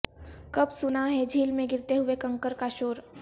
کب سنا ہے جھیل میں گرتے ہوئے کنکر کا شور